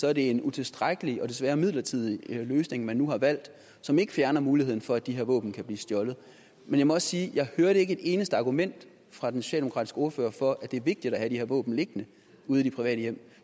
er det en utilstrækkelig og desværre midlertidig løsning man nu har valgt som ikke fjerner muligheden for at de her våben kan blive stjålet men jeg må også sige at jeg hørte et eneste argument fra den socialdemokratiske ordfører for at det er vigtigt at have de her våben liggende ude i de private hjem